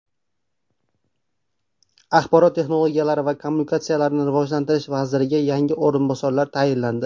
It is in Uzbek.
Axborot texnologiyalari va kommunikatsiyalarini rivojlantirish vaziriga yangi o‘rinbosarlar tayinlandi.